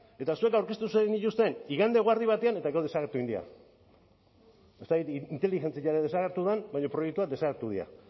eta zuek aurkeztu zenituzten igande eguerdi batean eta gaur desagertu egin dira ez dakit inteligentzia desagertu den baina proiektuak desagertu dira